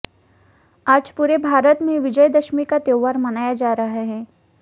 आज पूरे भारत में विजयदशमी का त्यौहार मनाया जा रहा है